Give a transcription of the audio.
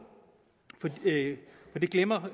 for det glemmer